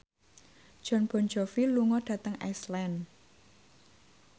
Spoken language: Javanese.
Jon Bon Jovi lunga dhateng Iceland